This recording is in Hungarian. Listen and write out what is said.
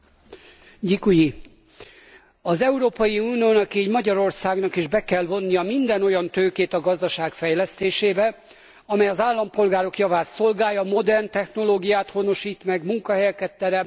Az Európai Uniónak, így Magyarországnak is be kell vonnia minden olyan tőkét a gazdaság fejlesztésébe, amely az állampolgárok javát szolgálja, modern technológiát honosít meg, munkahelyeket teremt és tisztességes adót fizet.